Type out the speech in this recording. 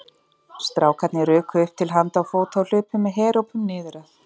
Strákarnir ruku upp til handa og fóta og hlupu með herópum niður að